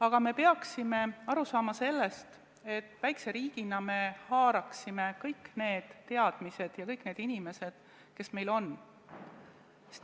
Aga me peaksime aru saama sellest, et väikse riigina meil tuleks kaasata kõik need teadmised ja kõik need inimesed, kes meil on.